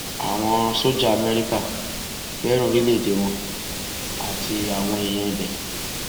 àwọn sójà amẹríkà fẹràn orílẹèdè wọn àti àwọn èèyàn ibẹ